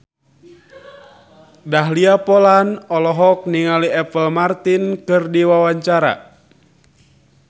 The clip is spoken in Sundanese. Dahlia Poland olohok ningali Apple Martin keur diwawancara